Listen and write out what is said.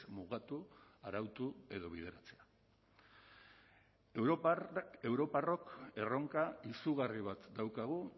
mugatu arautu edo bideratzea europarrok erronka izugarri bat daukagu